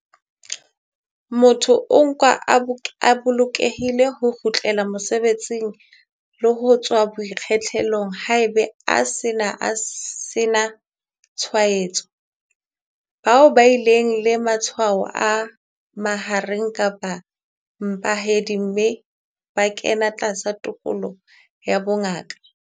Motho o nkwa a bolokelehile ho kgutlela mosebetsing le ho tswa boikgethollong haeba a se a sena tshwaetso. Bao ba bileng le matshwao a mahareng kapa a mpehadi mme ba kena tlasa tekolo ya bongaka.